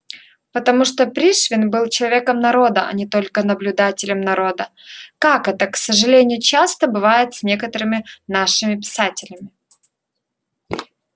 потому что пришвин был человеком народа а не только наблюдателем народа как это к сожалению часто бывает с некоторыми нашими писателями